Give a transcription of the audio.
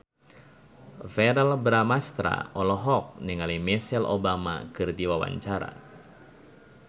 Verrell Bramastra olohok ningali Michelle Obama keur diwawancara